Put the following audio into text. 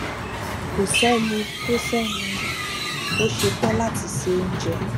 kò séni tó séni tó ṣetán láti se oúnjẹ